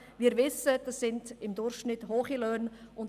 Wir wissen, dass es sich um durchschnittlich hohe Löhne handelt.